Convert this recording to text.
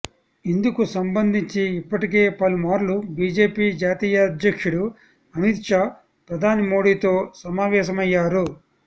ఇందుకు సంబంధించి ఇప్పటికే పలుమార్లు బీజేపీ జాతీయాధ్యక్షుడు అమిత్ షా ప్రధాని మోడీతో సమావేశమయ్యారు